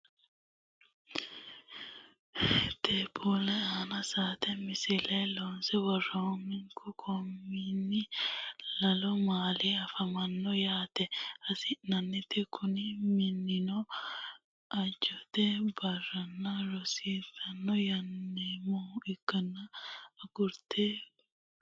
tapeelu aanna saate misille loonse woroonihu kominne lalu maali afamanno yaate hasi'neeti kunni mininno ajoyet barinna risitoranti yaamamanoha ikanna guragenniti kitifono hedhanowaati.